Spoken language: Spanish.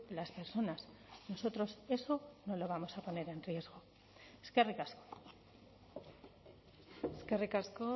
las personas nosotros eso no lo vamos a poner en riesgo eskerrik asko eskerrik asko